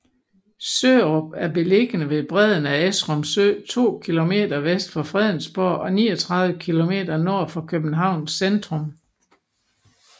Sørup er beliggende ved bredden af Esrum Sø to kilometer vest for Fredensborg og 39 kilometer nord for Københavns centrum